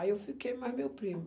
Aí eu fiquei mais meu primo.